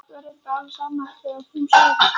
Pabba var reyndar alveg sama þegar hún sagði þetta.